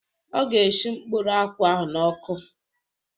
Ọ ga eshi mkpụrụ akwụ ahụ n'ọkụ